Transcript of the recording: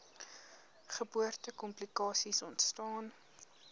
geboorte komplikasies ontstaan